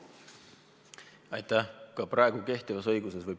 Aitäh!